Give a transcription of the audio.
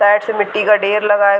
Side से मिट्टी का डेर लगा है।